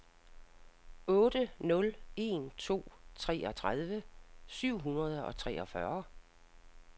otte nul en to treogtredive syv hundrede og treogfyrre